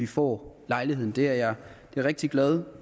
får lejlighed til det det er jeg rigtig glad